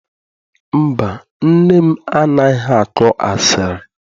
Mba, nne m anaghị akọ asịrị.